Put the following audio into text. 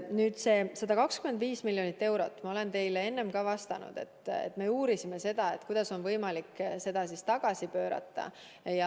Nüüd, sellest 125 miljonist eurost – ma olen teile ka enne vastanud, et me uurisime, kuidas on võimalik seda tagasi pöörata.